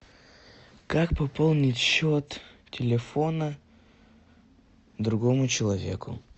как пополнить счет телефона другому человеку